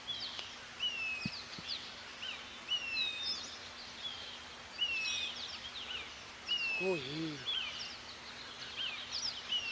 hhohhe